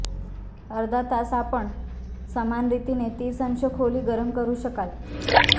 अर्धा तास आपण समान रीतीने तीस अंश खोली गरम करू शकाल